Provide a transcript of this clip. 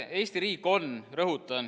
Eesti riik on – rõhutan!